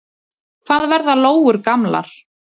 Hvað verða lóur gamlar?